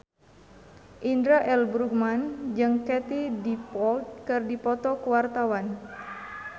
Indra L. Bruggman jeung Katie Dippold keur dipoto ku wartawan